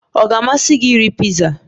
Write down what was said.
Ọ ga-amasị gị iri piza?